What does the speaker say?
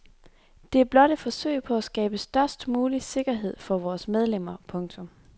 Det er blot et forsøg på at skabe størst mulig sikkerhed for vores medlemmer. punktum